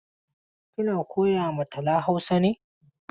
Kina koya ma Tala Hausa ne?